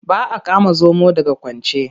Ba a kama zomo daga kwance.